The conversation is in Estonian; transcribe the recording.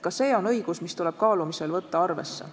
Ka see on õigus, mis tuleb kaalumisel võtta arvesse.